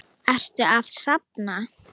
Ertu að safna?